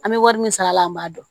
An bɛ wari min sara a la an b'a dɔn